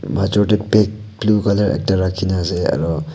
maijo tey bag blue colour ekta raki kena ase aro.